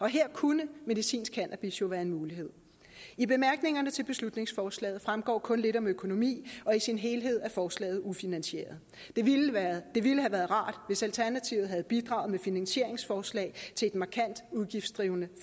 her kunne medicinsk cannabis jo være en mulighed i bemærkningerne til beslutningsforslaget fremgår kun lidt om økonomi og i sin helhed er forslaget ufinansieret det ville have været rart hvis alternativet havde bidraget med finansieringsforslag til et markant udgiftsdrivende